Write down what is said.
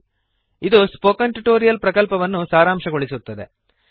httpspoken tutorialorgWhat is a Spoken Tutorial ಅದು spoken tutorial ಪ್ರಕಲ್ಪವನ್ನು ಸಾರಾಂಶಗೊಳಿಸುತ್ತದೆ